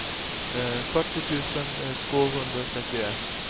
fyrtio tusen tvåhundratrettioett